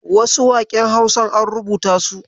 Wasu waƙen Hausar an rubuta su.